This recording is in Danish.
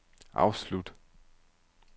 afslut